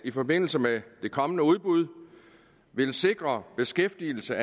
i forbindelse med det kommende udbud vil sikre beskæftigelse